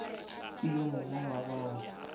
ke yo mongwe wa bao